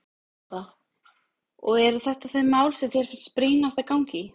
Lára: Og eru þetta þau mál sem þér finnst brýnast að ganga í?